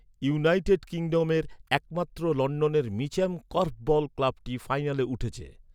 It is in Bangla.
ইউনাইটেড কিংডমের একমাত্র লন্ডনের মিচ্যাম কর্ফবল ক্লাবটি ফাইনালে উঠেছে।